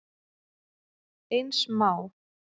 Eins má